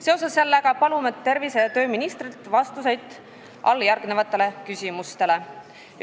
Seoses sellega palume tervise- ja tööministrilt vastuseid alljärgnevatele küsimustele.